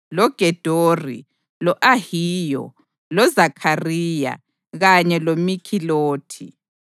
loGedori, lo-Ahiyo, loZakhariya kanye loMikhilothi.